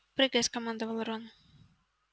прыгай скомандовал рон